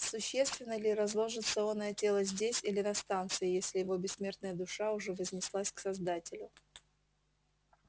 существенно ли разложится оное тело здесь или на станции если его бессмертная душа уже вознеслась к создателю